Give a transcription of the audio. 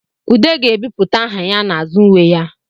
Ude ga-ebipụta aha ya n'azụ uwe ya